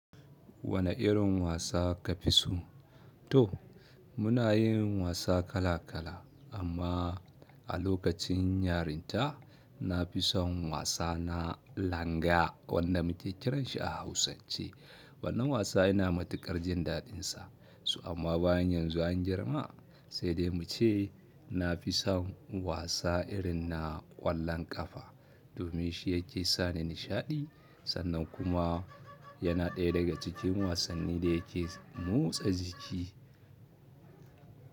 Wane irin wasa ka fi so? To muna yin wasa kala kala amma a lokacin yarinta na fi son wasa na langa, wanda muke kiran shi a hausance. Wannan wasa ina matuƙar jin daɗin sa. Toh amma bayan yanzu an girma sai dai mu ce na fi son wasa irin na ƙwallon ƙafa domin shi yake sani nishaɗi sannan kuma yana ɗaya daga cikin wasanni da yake motsa jiki.